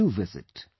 Do visit